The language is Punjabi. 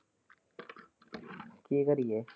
ਕੀ ਕਰੀਏ?